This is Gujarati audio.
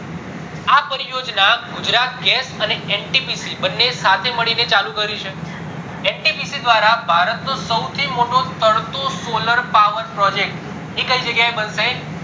આ પરી યોજના ગુજરાત ગેસ અને ntpc બંને સાથે મળી ને ચાલુ કર્યું છે ntpc દ્વારા ભારત નો સૌથી મોટો તરતો solar power projec t એ કય જગ્યા એ બનશે